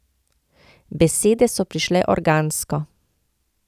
Besede so prišle organsko.